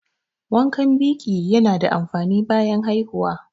Wankan biƙi ya na da amfani bayan haihuwa